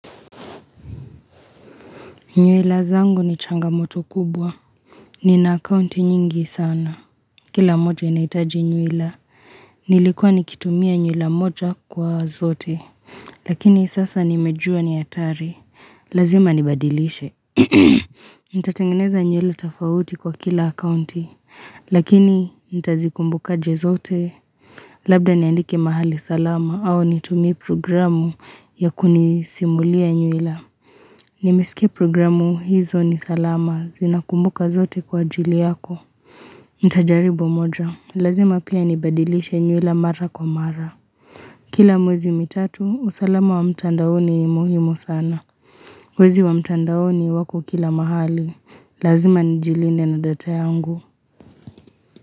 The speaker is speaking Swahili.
Nyuila zangu ni changamoto kubwa. Nina akaunti nyingi sana. Kila mmoja inaitaji nyuila. Nilikuwa nikitumia nyuila moja kwa zote. Lakini sasa nimejua ni hatari. Lazima nibadilishe. Nitatengineza nyuila tofauti kwa kila akaunti. Lakini ntazikumbukaje zote. Labda niandike mahali salama au nitumie programu ya kunisimulia nyuila. Nimesike programu hizo ni salama zinakumbuka zote kwaajili yako Ntajaribu moja, lazima pia nibadilishe nywila mara kwa mara Kila mwezi mitatu, usalama wa mtandao ni muhimu sana Wezi wa mtandaoni wako kila mahali, lazima nijilinde na data yangu.